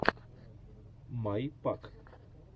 май пак